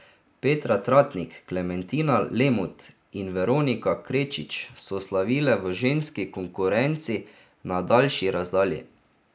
Petra Tratnik, Klementina Lemut in Veronika Krečič so slavile v ženski konkurenci na daljši razdalji.